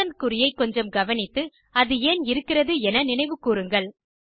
percent குறியை கொஞ்சம் கவனித்து அது ஏன் இருக்கிறது என நினைவு கூருங்கள்